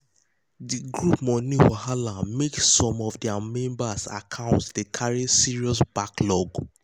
the group money wahala make some of their members accounts dey carry serious backlog.